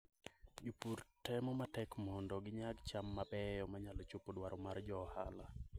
Jopur temo matek mondo ginyag cham mabeyo manyalo chopo dwaro mag johala.